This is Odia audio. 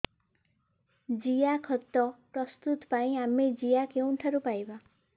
ଜିଆଖତ ପ୍ରସ୍ତୁତ ପାଇଁ ଆମେ ଜିଆ କେଉଁଠାରୁ ପାଈବା